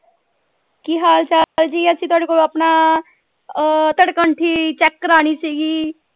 ਕੀ ਹਾਲ ਚਾਲ ਜੀ ਅਸੀਂ ਤੁਹਾਡੇ ਕੋਲੋਂ ਆਪਣਾ ਅਹ check ਕਰਾਨੀ ਸੀਗੀ।